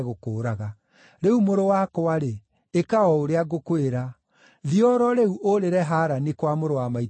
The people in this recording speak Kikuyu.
Rĩu mũrũ wakwa-rĩ, ĩka o ũrĩa ngũkwĩra. Thiĩ o ro rĩu ũũrĩre Harani, kwa mũrũ wa maitũ Labani.